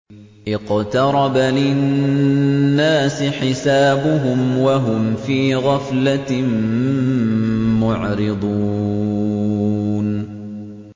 اقْتَرَبَ لِلنَّاسِ حِسَابُهُمْ وَهُمْ فِي غَفْلَةٍ مُّعْرِضُونَ